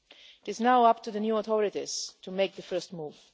It is now up to the new authorities to make the first move.